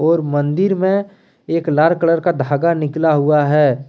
और मंदिर में एक लाल कलर का धागा निकला हुआ है।